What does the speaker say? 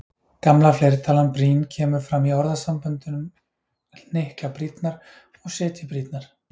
Gamla fleirtalan brýn kemur fram í orðasamböndunum hnykla brýnnar og setja í brýnnar.